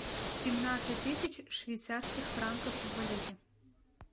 семнадцать тысяч швейцарских франков в валюте